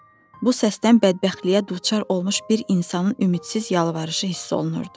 Bu səsdən bədbəxtliyə duçar olmuş bir insanın ümidsiz yalvarışı hiss olunurdu.